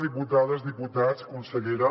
diputades diputats consellera